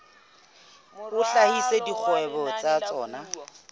a hlahisa dikgwebo tsa tsona